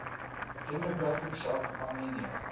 demographics of armenia